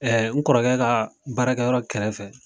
n kɔrɔkɛ ka baarakɛ yɔrɔ kɛrɛfɛ.